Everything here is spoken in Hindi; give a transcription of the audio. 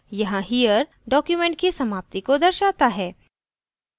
यहाँ here document की समाप्ति को दर्शाता है